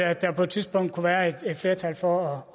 at der på et tidspunkt kunne være et flertal for